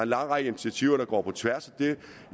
lang række initiativer der går på tværs